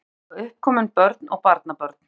Hjónin eiga uppkomin börn og barnabörn